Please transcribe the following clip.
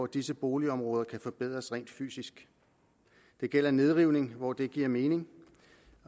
disse boligområder kan forbedres rent fysisk det gælder nedrivning hvor det giver mening